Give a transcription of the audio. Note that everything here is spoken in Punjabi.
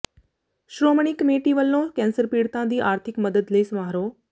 ਸ਼੍ਰੋਮਣੀ ਕਮੇਟੀ ਵੱਲੋਂ ਕੈਂਸਰ ਪੀੜਤਾਂ ਦੀ ਆਰਥਿਕ ਮਦਦ ਲਈ ਸਮਾਰੋਹ